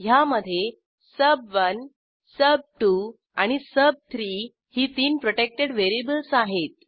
ह्यामधे सुब1 सुब2 आणि सुब3 ही तीन प्रोटेक्टेड व्हेरिएबल्स आहेत